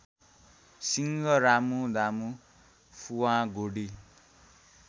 सिंह रामुदामु फुवागुडी